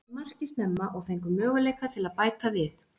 Við náðum inn marki snemma og fengum möguleika til að bæta við.